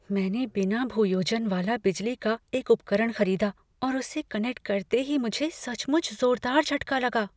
मैंने बिना भूयोजन वाला बिजली का एक उपकरण खरीदा और उसे कनेक्ट करते ही मुझे सचमुच जोरदार झटका लगा।